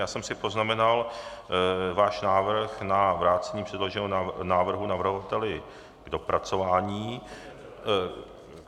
Já jsem si poznamenal váš návrh na vrácení předloženého návrhu navrhovateli k dopracování...